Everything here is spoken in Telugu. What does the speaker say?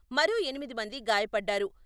మరో ఎనిమిది మంది గాయపడ్డారు.